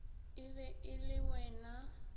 e be e le wena